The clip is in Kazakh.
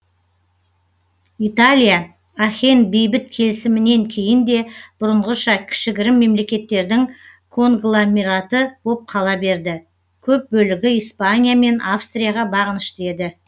италия ахен бейбіт келісімінен кейін де бұрынғыша кішігірім мемлекеттердің конгломераты боп қала берді көп бөлігі испания мен австрияға бағынышты еді